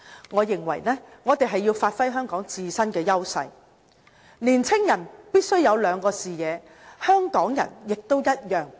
我認為，我們若要發揮香港自身的優勢，年青人必須有兩個視野，香港人也一樣。